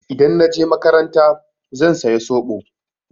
Idan na je makaranta zan saya zoɓo.